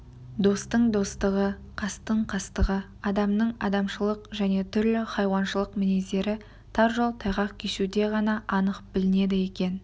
достың достығы қастың қастығы адамның адамшылық және түрлі хайуаншылық мінездері тар жол тайғақ кешуде ғана анық білінеді екен